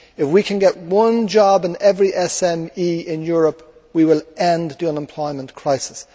If we can get one job in every SME in Europe, we will end the unemployment crisis.